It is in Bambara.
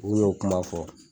N'u y'o kuma fɔ.